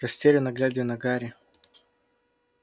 расстеренно глядя на гарри